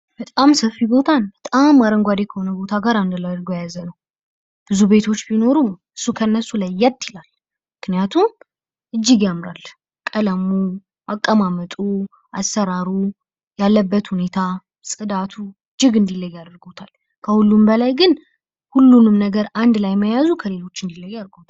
በጣም ሰፊ ቦታን በጣም አረንጓዴ ከሆነ ቦታ ጋር አንድ ላይ አድርጎ የያዘ ነው። ብዙ ቤቶች ቢኖሩም እሱ ከእነሱ ለየት ይላል ምክንያቱም እጅግ ያምራል። ቀለሙ፣ አቀማመጡ፣ አሠራሩን፣ ያለበት ሁኔታ ፣ጽዳቱ እጅግ እንዲለይ ያደርጎታል። ከሁሉም በላይ ግን ሁሉንም ነገር አንድ ላይ መያዙ ከሌሎች እንዲለይ አድርጎታል።